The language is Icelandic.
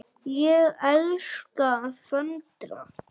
Ég elska að föndra.